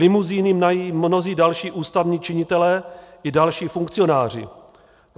Limuzíny mají mnozí další ústavní činitelé i další funkcionáři.